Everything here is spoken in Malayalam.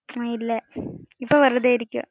ഹ്മ്മ് ഇല്ല ഇപ്പം വെറുതെ ഇരിക്കുവാ.